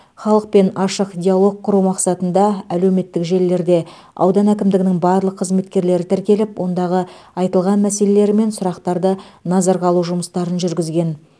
халықпен ашық диалог құру мақсатында әлеуметтік желілерде аудан әкімдігінің барлық қызметкерлері тіркеліп ондағы айтылған мәселелер мен сұрақтарды назарға алу жұмыстарын жүргізген